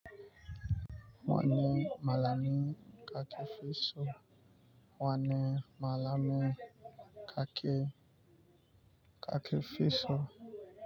Wane malamin kakefiso? Wane malamin Kak-Kakefiso?